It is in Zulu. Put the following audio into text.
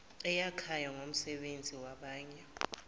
eyakhayo ngomsebenzi wabanye